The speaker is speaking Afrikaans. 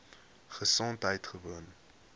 gesondheidgewoon